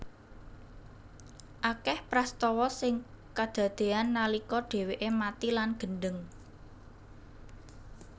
Akeh prastawa sing kadadean nalika dheweke mati lan gendheng